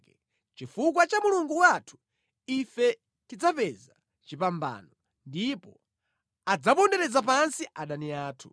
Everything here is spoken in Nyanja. Chifukwa cha Mulungu wathu, ife tidzapeza chipambano, ndipo adzapondereza pansi adani athu.